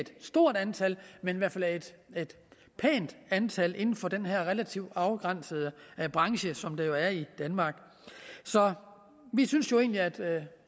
stort antal men i hvert fald et pænt antal arbejdspladser inden for den her relativt afgrænsede branche som det jo er i danmark så vi synes jo egentlig at